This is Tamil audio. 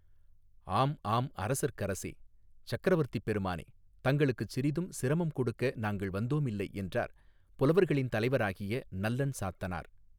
ஆம் ஆம் அரசர்க்கரசே சக்கரவர்த்திப் பெருமானே தங்களுக்குச் சிறிதும் சிரமம் கொடுக்க நாங்கள் வந்தோமில்லை என்றார் புலவர்களின் தலைவராகிய நல்லன் சாத்தனார்.